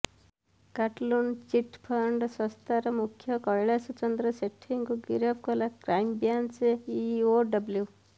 କାଟଲୁନ୍ chit fund ସଂସ୍ଥାର ମୁଖ୍ୟ କୈଳାଶ ଚନ୍ଦ୍ର ସେଠୀଙ୍କୁ ଗିରଫ କଲା କ୍ରାଇମବ୍ରାଂଚ ଇଓଡବ୍ଲ୍ୟୁ